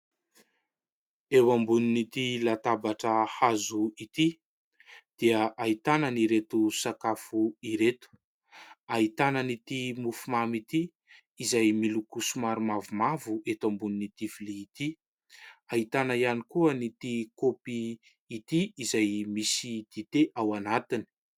Eo ambonin'itỳ latabatra hazo itỳ dia ahitana an'ireto sakafo ireto : ahitana an'itỳ mofomamy itỳ, izay miloko somary mavomavo eto ambonin'itỳ vilia itỳ. Ahitana ihany koa an'itỳ kaopy itỳ izay misy dite ao anatiny.